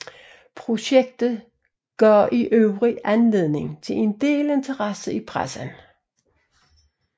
Projektet gav i øvrigt anledning til en del interesse i pressen